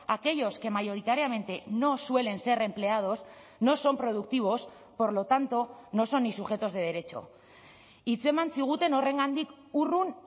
aquellos que mayoritariamente no suelen ser empleados no son productivos por lo tanto no son ni sujetos de derecho hitzeman ziguten horrengandik urrun